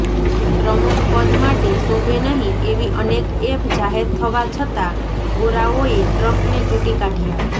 પ્રમુખપદ માટે શોભે નહીં એવી અનેક એબ જાહેર થવા છતાં ગોરાઓએ ટ્રમ્પને ચૂંટી કાઢયા